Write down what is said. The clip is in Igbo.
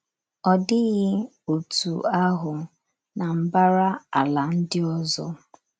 Ọ dịghị otú ahụ ná mbara ala ndị ọzọ.